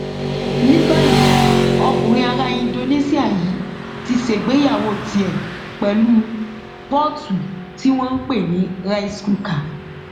ní báyìí ọkùnrin ará indonesia yìí ti ṣègbéyàwó tiẹ pẹlú pọọtù tí wọn ń pè ní rice cooker